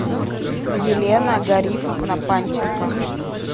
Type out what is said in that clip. елена гарифовна панченко